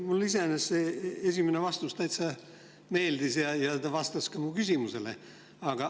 Mulle iseenesest esimene vastus täitsa meeldis ja see vastas ka mu küsimusele.